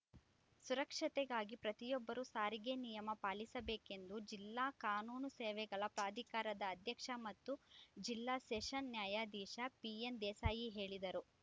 ಸುರಕ್ಷತೆಗಾಗಿ ಪ್ರತಿಯೊಬ್ಬರೂ ಸಾರಿಗೆ ನಿಯಮ ಪಾಲಿಸಬೇಕೆಂದು ಜಿಲ್ಲಾ ಕಾನೂನು ಸೇವೆಗಳ ಪ್ರಾಧಿಕಾರದ ಅಧ್ಯಕ್ಷ ಮತ್ತು ಜಿಲ್ಲಾ ಸೆಷನ್ಸ್‌ ನ್ಯಾಯಾಧೀಶ ಪಿಎನ್‌ದೇಸಾಯಿ ಹೇಳಿದರು